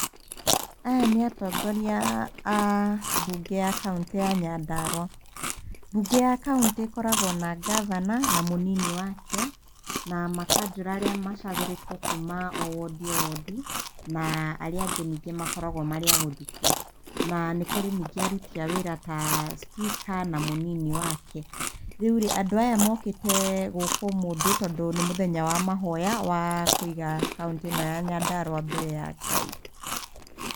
Aya nĩ atongoria a mbunge ya kauntĩ ya Nyandarua. Mbunge ya kauntĩ ĩkoragwo na gavana na mũnini wake na makanjũra arĩa macagũrĩtwo kuma o wodi, o wodi na arĩa angĩ nyingĩ makoragwo marĩa a gũthukio. Na nĩ kũrĩ nyingĩ aruti a wĩra ta cibika na mũnini wake. Rĩu rĩ, andũ aya mokĩte gũkũ ũmũthĩ tondũ nĩ mũthenya wa mahoya wa kũiga kauntĩ ĩno ya Nyandarua mbere ya Ngai.